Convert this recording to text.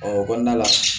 Ɔ o kɔnɔna la